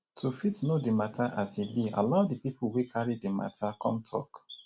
to fit know di matter as e be allow di pipo wey carry the matter come talk